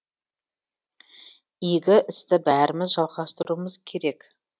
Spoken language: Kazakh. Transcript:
игі істі бәріміз жалғастыруымыз керек